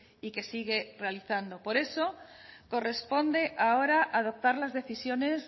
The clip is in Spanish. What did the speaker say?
y que sigue realizando por eso corresponde ahora adoptar las decisiones